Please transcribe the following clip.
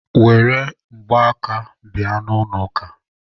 Were mgbaaka bịa n'ụlọ ụka!